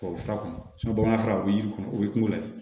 Tubabu fura kun bamanankan na o bɛ yiri kɔnɔ o ye kungo de ye